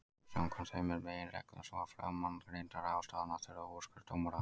Samkvæmt þeim er meginreglan sú að framangreindar ráðstafanir þurfi úrskurð dómara.